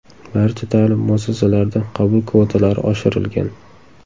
Barcha ta’lim muassasalarida qabul kvotalari oshirilgan.